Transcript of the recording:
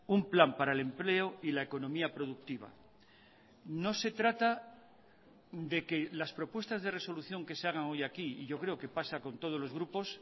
un plan para el empleo y la economía productiva no se trata de que las propuestas de resolución que se hagan hoy aquí y yo creo que pasa con todos los grupos